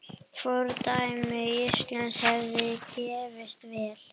Fordæmi Íslands hefði gefist vel.